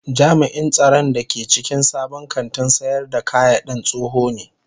Jami'in tsaron da ke cikin sabon kantin sayar da kayadin tsoho ne